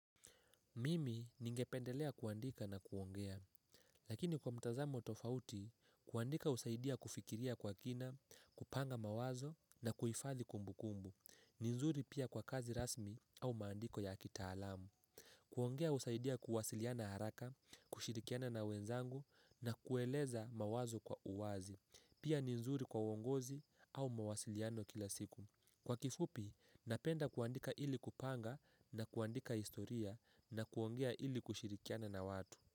Mimi ningependelea kuandika na kuongea. Lakini kwa mtazamo tofauti, kuandika husaidia kufikiria kwa kina, kupanga mawazo na kuhifadhi kumbu kumbu. Ni nzuri pia kwa kazi rasmi au maandiko ya kitaalamu. Kuongea husaidia kuwasiliana haraka, kushirikiana na wenzangu na kueleza mawazo kwa uwazi. Pia ni nzuri kwa uongozi au mawasiliano kila siku. Kwa kifupi, napenda kuandika ili kupanga na kuandika historia na kuongea ili kushirikiana na watu.